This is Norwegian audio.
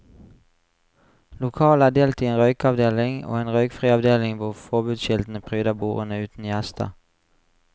Lokalet er delt i en røykeavdeling, og en røykfri avdeling hvor forbudskiltene pryder bordene uten gjester.